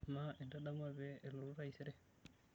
Amaa, intadamua pee elotu taisere?